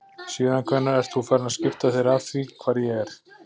Síðan hvenær ert þú farinn að skipta þér af því hvar ég er?